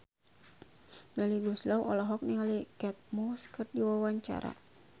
Melly Goeslaw olohok ningali Kate Moss keur diwawancara